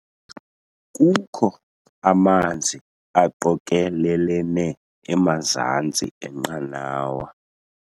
Kukho amanzi aqokelelene emazantsi enqanawa.